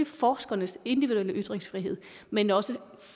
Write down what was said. forskernes individuelle ytringsfrihed men også